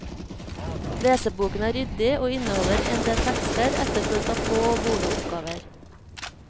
Leseboken er ryddig, og inneholder endel tekster, etterfulgt av få og gode oppgaver.